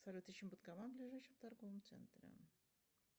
салют ищем банкомат в ближайшем торговом центре